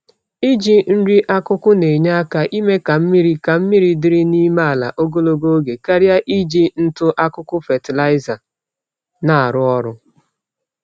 Iji nri-akụkụ nenye àkà ime ka mmiri ka mmiri dịrị n'ime ala ogologo oge, karịa iji ntụ-akụkụ fatịlaịza n'arụ ọrụ